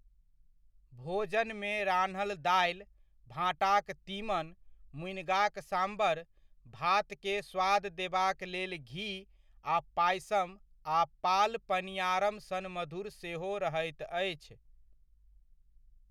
भोजनमे रान्हल दालि, भाँटाक तीमन, मुनिगाक साम्बर, भातकेँ स्वाद देबाक लेल घी आ पायसम आ पाल पनियारम सन मधुर सेहो रहैत अछि।